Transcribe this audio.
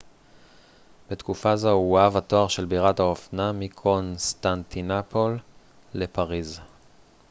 בתקופה זו הועב התואר של בירת האופנה מקונסטנטינופול לפריז